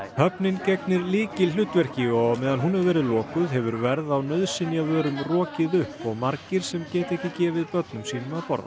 höfnin gegnir lykilhlutverki og á meðan hún hefur verið lokuð hefur verð á nauðsynjavörum rokið upp og margir sem geta ekki gefið börnum sínum að borða